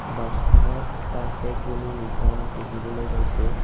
বাছখনত পাৰফেক্ট বুলি লিখা দেখিবলৈ পাইছোঁ।